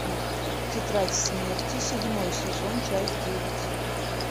тетрадь смерти седьмой сезон часть девять